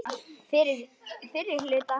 Fyrri hluta árs.